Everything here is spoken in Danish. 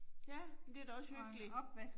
Ja, men det da også hyggeligt